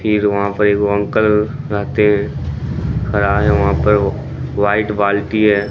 फिर वहां पर एक अंकल रहते हैं व्हाइट बाल्टी है।